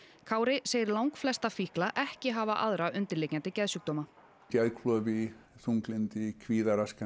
Kári segir langflesta fíkla ekki hafa aðra undirliggjandi geðsjúkdóma geðklofi þunglyndi kvíðaraskanir